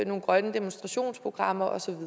nogle grønne demonstrationsprogrammer og så